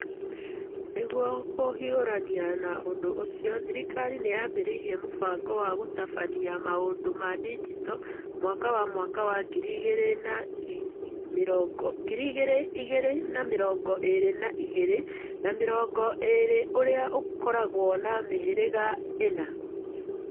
Nĩguo kũhiũrania na ũndũ ũcio, thirikari nĩ yaambĩrĩirie mũbango wa gũtabania maũndũ ma digitali mwaka wa mwaka wa ngiri igĩrĩ na mĩrongo ĩĩrĩ na igĩrĩ na mĩrongo ĩĩrĩ ũrĩa ũkoragwo na mĩhĩrĩga ĩna.